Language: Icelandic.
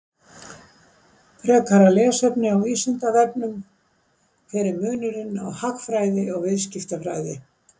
Frekara lesefni á Vísindavefnum: Hver er munurinn á hagfræði og viðskiptafræði?